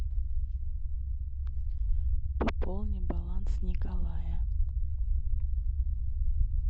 пополнить баланс николая